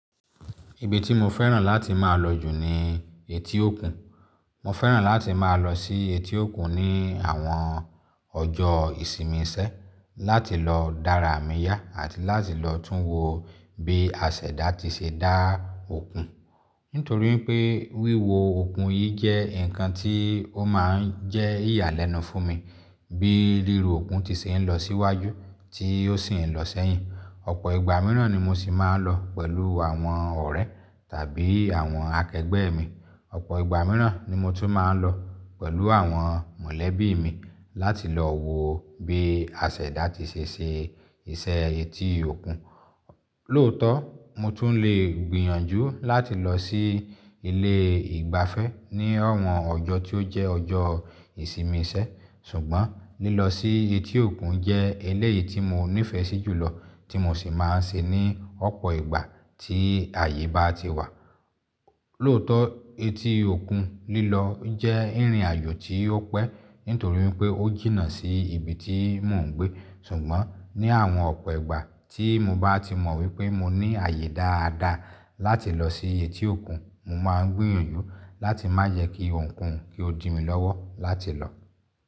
Ibi tí mo fẹ́ràn láti máa lọ jù ni etí òkun. Mo fẹ́ràn láti máa lọ sí etí òkun ní àwọn ọjọ́ ìsinmi isẹ́, láti lọ dára àmì yá àti láti lọ tún wo bí asèdá ti ṣe dá òkun. Nítorí pé wíwo òkun yìí jẹ́ nǹkan tí ó máa ń jẹ́ ìyàlẹ́nu fún mi, bí ríru òkun ti ṣe ń lọ síwájú tí ó sì ń lọ sẹ́yìn. Ọ̀pọ̀ ìgbà mìíràn ni mo sì máa ń lọ pẹ̀lú àwọn ọ̀rẹ́ tàbí àwọn akẹgbẹ́ mi. Ọ̀pọ̀ ìgbà mìíràn ni mo tún máa ń lọ pẹ̀lú àwọn mọ̀lẹ́bí mi láti lọ wo bí asèdá ti ṣe ṣe iṣẹ́ etí òkun. Lóòótọ́ mo tún lè gbìyànjú láti lọ sí ilé ìgbafẹ́ ní àwọn ọjọ́ tí ó jẹ́ ọjọ́ ìsinmi sẹ́ sùgbọ́n lílọ sí etí òkun jẹ́ eléyìí tí mo nífẹ̀ẹ́ sí jùlọ tí mo sì máa ń ṣe ní ọ̀pọ̀ ìgbà tí àyè bá ti wà. Lóòótọ́ etí òkun lílọ jẹ́ ìrìnàjò tí ó pẹ́ nítorí pé ó jìnnà sí ibi tí mò ń gbé. Ṣùgbọ́n ní àwọn ọ̀pọ̀ ìgbà tí mo bá ti mọ̀ wípé mo ní àyè dáadáa láti lọ sí etí òkun, mo máa ń gbìyànjú láti má jẹ́ kí ohunkóhun kí ó dí mi lọ́wọ́ láti lọ.